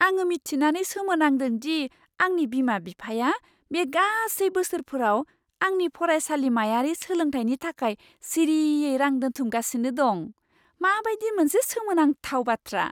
आङो मिथिनानै सोमोनांदों दि आंनि बिमा बिफाया बे गासै बोसोरफोराव आंनि फरायसालिमायारि सोलोंथायनि थाखाय सिरियै रां दोनथुमगासिनो दं। माबादि मोनसे सोमोनांथाव बाथ्रा!